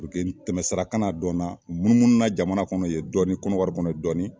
Puruke tɛmɛ sara kana dɔn n na n munumununa jamana kɔnɔ ye dɔni kɔnɔwari kɔnɔ ye dɔni